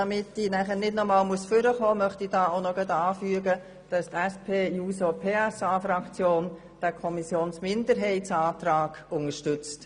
Damit ich nachher nicht noch einmal ans Pult treten muss, möchte ich noch anfügen, dass die SP-JUSOPSA-Fraktion den Kommissionsminderheitsantrag unterstützt.